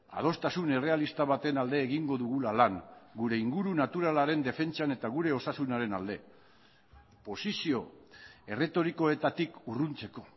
adostasun errealista baten alde egingo dugula lan gure inguru naturalaren defentsan eta gure osasunaren alde posizio erretorikoetatik urruntzeko